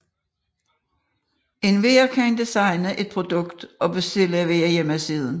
Enhver kan designe et produkt og bestille via hjemmesiden